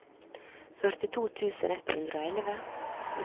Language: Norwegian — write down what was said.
førtito tusen ett hundre og elleve